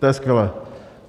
To je skvělé.